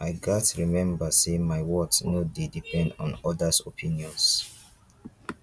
i gats remember say my worth no dey depend on others opinions